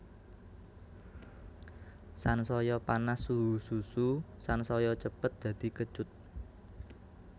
Sansaya panas suhu susu sansaya cepet dadi kecut